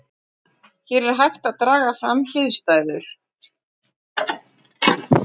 Hér er hægt að draga fram hliðstæður.